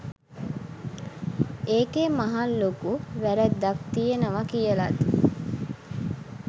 ඒකෙ මහලොකු වැරැද්දක් තියනව කියලත්